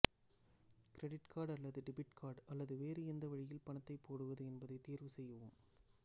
credit card அல்லது debit card அல்லது வேறு எந்த வழியில் பணத்தை போடுவது என்பதை தேர்வு செய்யவும்